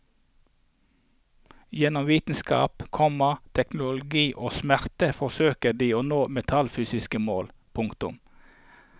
Gjennom vitenskap, komma teknologi og smerte forsøker de å nå metafysiske mål. punktum